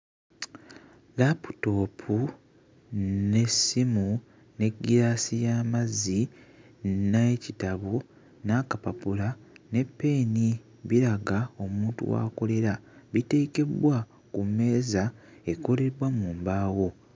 Laputoopu n'essimu, ne ggiraasi y'amazzi n'ekitabo, n'akapapula ne ppeeni. Biraga omuntu w'akolera. Biteekebbwa ku mmeeza ekolebbwa mu mbaawo.